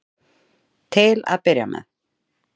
Til að byrja með.